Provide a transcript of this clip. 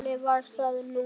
Þannig var það nú.